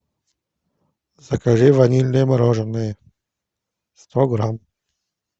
закажи ванильное мороженое сто грамм